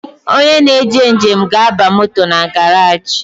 Onye na-eje njem ga-aba moto na garaji